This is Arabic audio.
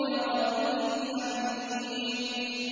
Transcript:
كَغَلْيِ الْحَمِيمِ